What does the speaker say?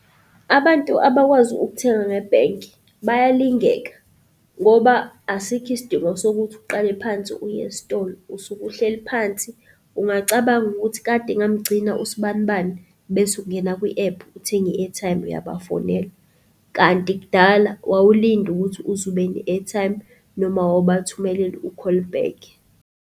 Abantu abakwazi ukuthenga ngebhenki bayalingeka, ngoba asikho isidingo sokuthi uqale phansi uye esitolo usuke uhleli phansi. Ungacabanga ukuthi kade ngamgcina usbani bani bese ungena kwi-App Uthenge i-airtime uyabafonela, kanti kudala wawulinda ukuthi uze ube ne-airtime noma owawubathumel u-call back.